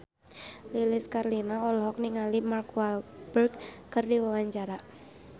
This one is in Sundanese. Lilis Karlina olohok ningali Mark Walberg keur diwawancara